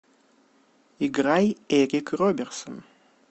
играй эрик роберсон